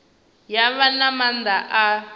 ya vha na maanḓa a